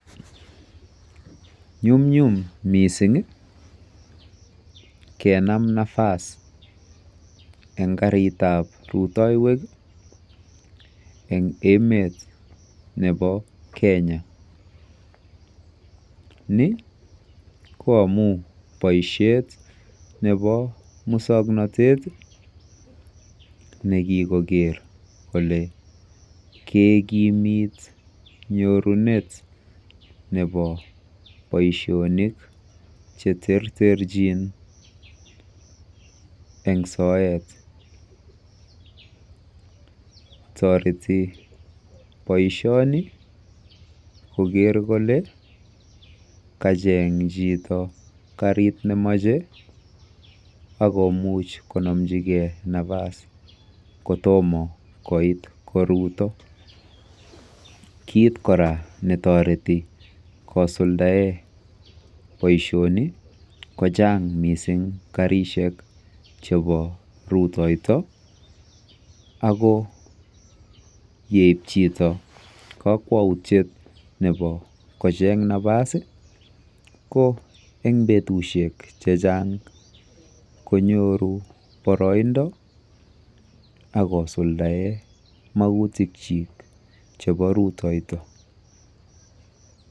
Nyumnyum mising' kenam nafas eng' karit ab rutoywek eng' emet nepo Kenya ni ko amun boisiet nepo muswong'natet nekigoker kole kekimit nyorunet nepo boisionik cheterterchin eng' soet toreti boisioni koger kole kacheng' chito karit nemache akomuch konamjigei nafas kotoma koit karuto, kiit koraa netoreti ko suldaet boisioni kochang' mising' karisiek chepo rutoyto ago yeipchito kokwoutiet nepo kocheng' nafas ko eng' petusiek chechang' konyoru boroindo agosuldae mautik chi chepo rutoyto.